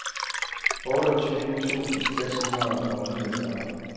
otteogtyve tusind seks hundrede og niogfyrre